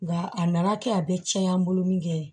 Nga a nana kɛ a bɛ tiɲɛ an bolo min kɛ ye